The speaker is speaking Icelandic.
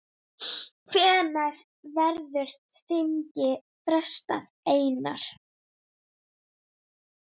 Hvenær verður þingi frestað, Einar?